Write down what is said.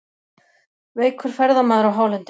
Veikur ferðamaður á hálendinu